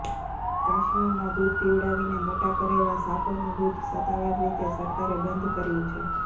કાશ્મીરમાં દૂધ પીવડાવીને મોટા કરેલાં સાપોનું દૂધ સત્તાવાર રીતે સરકારે બંધ કર્યું છે